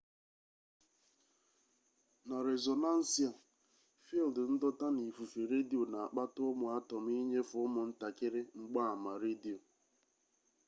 na rezọnansị a fild ndọta na ifufe redio na-akpata ụmụ atọm inyefụ ụmụ ntakịrị mgbaama redio